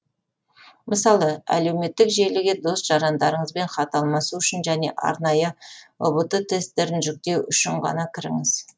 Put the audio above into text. мысалы әлеуметтік желіге дос жарандарыңызбен хат алмасу үшін және арнайы ұбт тесттерін жүктеу үшін ғана кіріңіз